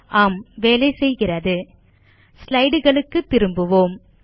ஆம் வேலைசெய்கிறது slideகளுக்கு திரும்புவோம்